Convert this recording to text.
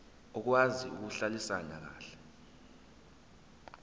okwazi ukuhlalisana kahle